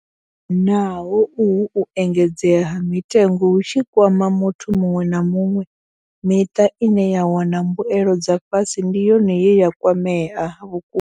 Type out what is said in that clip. Naho uhu u engedzea ha mitengo hu tshi kwama muthu muṅwe na muṅwe, miṱa ine ya wana mbuelo dza fhasi ndi yone ye ya kwamea vhukuma.